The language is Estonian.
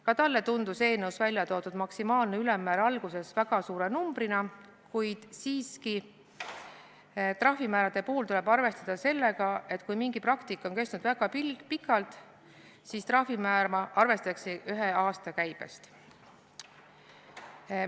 Ka talle tundus eelnõus väljatoodud maksimaalne ülemmäär alguses väga suure numbrina, kuid trahvimäärade puhul tuleb siiski arvestada sellega, et kui mingi praktika on kestnud väga pikalt, siis trahvimäära arvestatakse ühe aasta käibest.